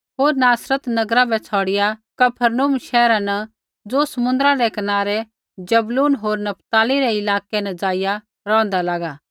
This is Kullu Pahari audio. होर नासरत नगरा बै छ़ौड़िआ कफरनहूम शैहरा न ज़ो समुन्द्रा रै कनारै ज़बूलून होर नपताली रै इलाकै न ज़ाइआ रौंहदा लागा